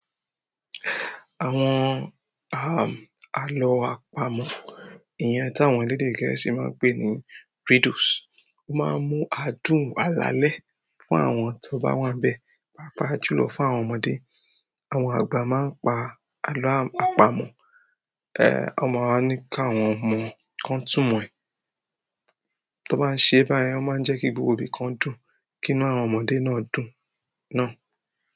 Àwọn alo àpamọ́, iyẹ̀n tí àwọn elédè gẹ̀ẹ́sì máa ń pè ní riddles. O máa ń mú adùn alalẹ́ fún àwọn tó bá wá ń bẹ, pàápàá jùlọ fún àwọn ọmọdé. Àwọn àgbà máa ń pa àlọ́ àpamọ́, won máa wa ní káwọn ọmọ kan túmọ̀ ẹ̀. Tó bá ń ṣe báyìí, wọ́n máa ń jẹ́ kí gbogbo ibi kan dùn, kí inú àwọn ọmọdé náà dùn náà.